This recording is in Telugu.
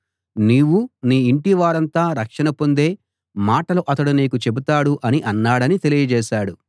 నీవూ నీ ఇంటివారంతా రక్షణ పొందే మాటలు అతడు నీతో చెబుతాడు అని అన్నాడని తెలియజేశాడు